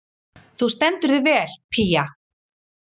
Þú stendur þig vel, Pía!